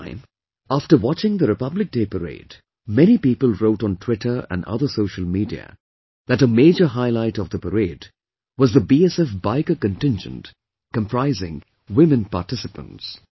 This time, after watching the Republic Day Parade, many people wrote on Twitter and other social media that a major highlight of the parade was the BSF biker contingent comprising women participants